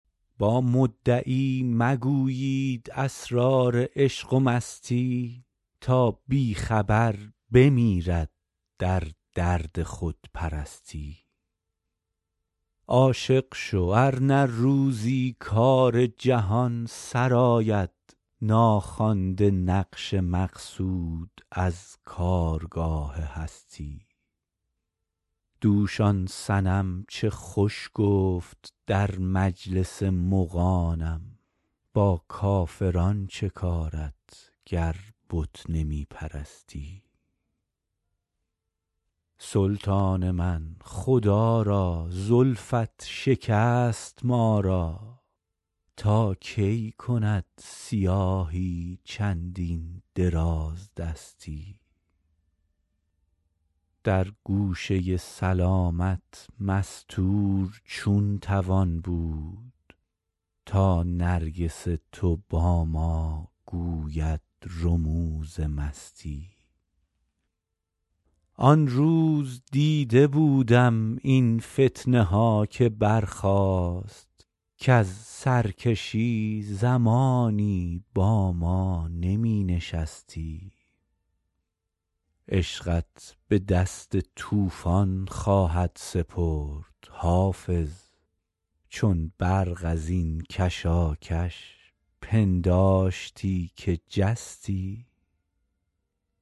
با مدعی مگویید اسرار عشق و مستی تا بی خبر بمیرد در درد خودپرستی عاشق شو ار نه روزی کار جهان سرآید ناخوانده نقش مقصود از کارگاه هستی دوش آن صنم چه خوش گفت در مجلس مغانم با کافران چه کارت گر بت نمی پرستی سلطان من خدا را زلفت شکست ما را تا کی کند سیاهی چندین درازدستی در گوشه سلامت مستور چون توان بود تا نرگس تو با ما گوید رموز مستی آن روز دیده بودم این فتنه ها که برخاست کز سرکشی زمانی با ما نمی نشستی عشقت به دست طوفان خواهد سپرد حافظ چون برق از این کشاکش پنداشتی که جستی